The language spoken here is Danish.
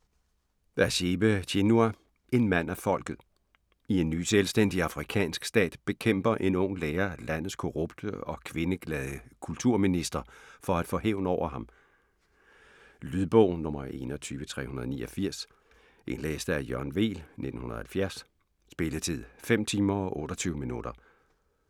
Achebe, Chinua: En mand af folket I en ny selvstændig afrikansk stat bekæmper en ung lærer landets korrupte og kvindeglade kulturminister for at få hævn over ham. Lydbog 21389 Indlæst af Jørgen Weel, 1970. Spilletid: 5 timer, 28 minutter.